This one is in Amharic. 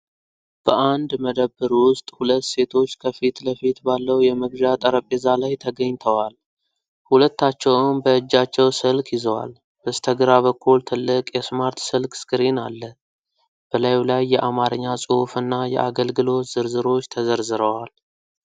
በአንድ መደብር ውስጥ፣ ሁለት ሴቶች ከፊት ለፊት ባለው የመግዣ ጠረጴዛ ላይ ተገኝተዋል። ሁለታቸውም በእጃቸው ስልክ ይዘዋል። በስተግራ በኩል ትልቅ የስማርት ስልክ ስክሪን አለ፣ በላዩ ላይ የአማርኛ ጽሑፍ እና የአገልግሎት ዝርዝሮች ተዘርዝረዋል።